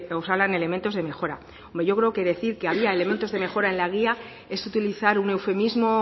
osalan elementos de mejora hombre yo creo que decir que había elementos de mejora en la guía es utilizar un eufemismo